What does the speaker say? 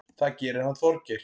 Það gerir hann Þorgeir.